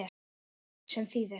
Sem þýðir